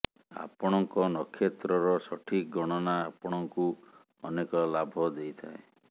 ଆପଣଙ୍କ ନକ୍ଷତ୍ରର ସଠିକ ଗଣନା ଆପଣଙ୍କୁ ଅନେକ ଲାଭ ଦେଇଥାଏ